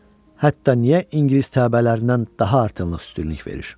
Hətta niyə ingilis təbəələrindən daha artırılıq üstünlük verir?